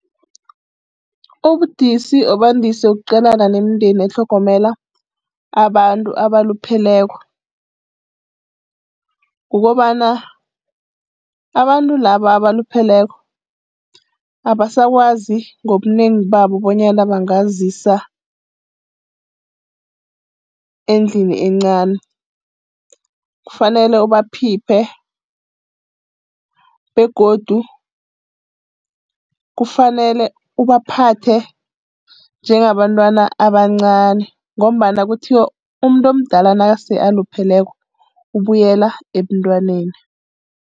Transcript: Ubudisi obandise ukuqalana nemindeni etlhogomela abantu abalupheleko, kukobana abantu laba abalupheleko abasakwazi ngobunengi babo bonyana bangazisiza endlini encani. Kufanele ubaphiphe begodu kufanele ubaphathe njengabantwana abancani ngombana kuthiwa umuntu omdala nase alupheleko ukubuyela ebuntwaneni.